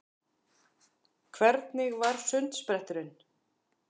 Hvernig var sundspretturinn?